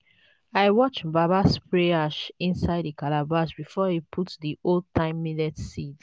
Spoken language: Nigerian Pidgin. i watch baba spray ash inside the calabash before he put the old-time millet seeds.